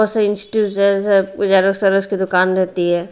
Institute है और services की दुकान रहती है।